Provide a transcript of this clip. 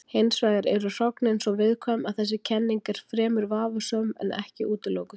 Hins vegar eru hrognin svo viðkvæm að þessi kenning er fremur vafasöm en ekki útilokuð.